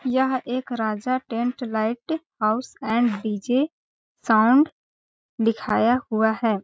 यह एक Raja tent light house and DJ. Sound लिखाया हुआ हैं ।